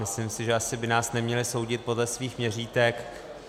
Myslím si, že by nás asi neměli soudit podle svých měřítek.